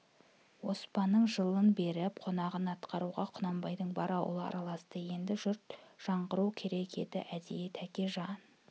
оспанның жылын беріп қонағын атқаруға құнанбайдың бар ауылы араласты енді жұрт жаңғырту керек еді әдейі тәкежан